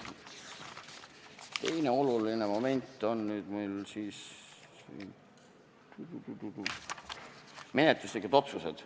Teine oluline moment on meie menetluslikud otsused.